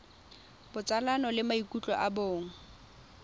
botsalano le maikutlo a bong